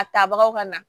A tabagaw ka na